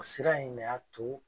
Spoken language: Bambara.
Sira in de y'a to